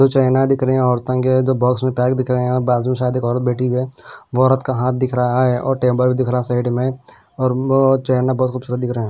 छैना दिख रही है औरतों केजो बॉक्स भी पैक दिख रहे हैजो अलग बैठी हुए है वो औरत का हाथ दिख रहा हैऔर टेबल दिख रहा है साइड मेंऔर छैना पैकेट से दिख रहे है।